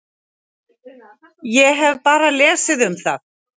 Ég hef bara lesið um það.